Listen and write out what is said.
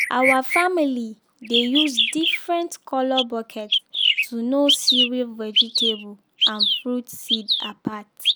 our family dey use different colour bucket to know cereal vegetable and fruit seed apart.